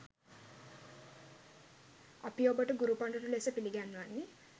අපි ඔබට ගුරු පඬුරු ලෙස පිළිගන්වන්නේ